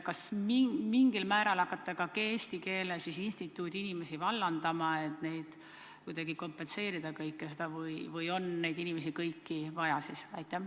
Kas te hakkate mingil määral ka Eesti Keele Instituudi inimesi vallandama, et kuidagi seda kõike kompenseerida, või on siiski kõiki neid inimesi vaja?